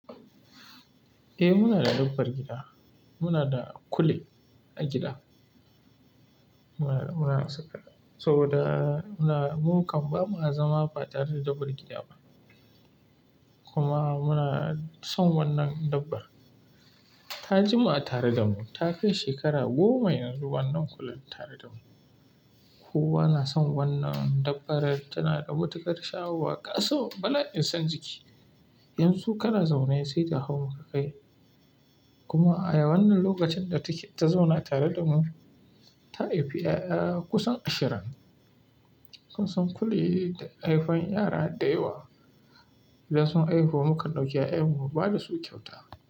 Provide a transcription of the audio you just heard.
Eh, muna da dabbar gida. Muna da kule a gida. Muna sabo da mu kamma, ba mu zama batare da dabbar gida ba. Kuma muna son wannan dabbar. Ta jima'a tare da mu, ta kai shekara goma yanzu wannan kulen tare da mu. Kowa na son wannan dabbar. Tana da matukar shahowa kaso, bala'in son jiki. Yanzu kana zaune sai ta hau maka kai. Kuma a wannan lokacin da take ta zauna tare da mu, ta haifi 'ya'ya kusan ashirin. Kusan kuliyayye da haifan yara da yawa. Idan sun haihu, mukan ɗauki 'ya'yan mu ba da su kyauta.